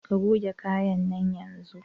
Ka goge kayan nan yanzun!